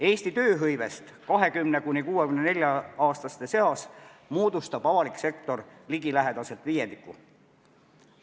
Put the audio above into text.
Eesti tööhõivest 26–64-aastaste seas moodustab avalik sektor ligilähedaselt viiendiku.